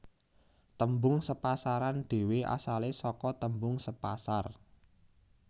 Tembung sepasaran dhewe asale sake tembung sepasar